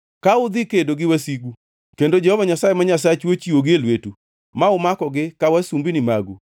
Ka udhi kedo gi wasigu kendo Jehova Nyasaye ma Nyasachu ochiwogi e lwetu ma umakogi ka wasumbini magu,